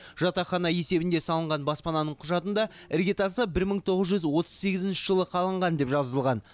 жатақхана есебінде салынған баспананың құжатында іргетасы бір мың тоғыз жүз отыз сегізінші жылы қаланған деп жазылған